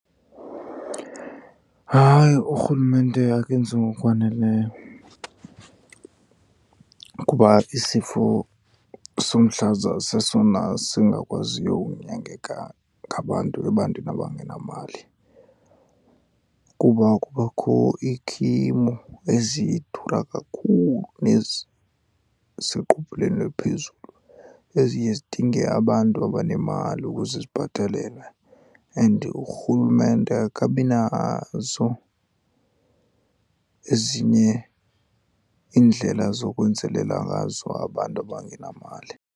Hayi, urhulumente akenzi ngokwaneleyo. Kuba isifo somhlaza sesona singakwaziyo ukunyangeka ngabantu ebantwini abangenamali, kuba kubakho iikhimo ezidura kakhulu neziseqophelweni eliphezulu eziye zidinge abantu abanemali ukuze zibhatelelwe. And urhulumente akabi nazo ezinye iindlela zokwenzelela ngazo abantu abangenamali.